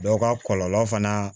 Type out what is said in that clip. Dɔw ka kɔlɔlɔ fana